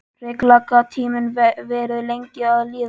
Hrikalega gat tíminn verið lengi að líða.